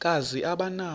kazi aba nawo